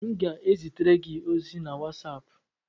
M ga-ezitere gị ozi na wasapu